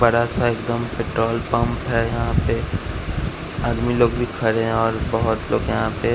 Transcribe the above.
बड़ा सा एकदम पेट्रोल पंप है यहां पे आदमी लोग भी खड़े हैं और बहोत लोग यहां पे--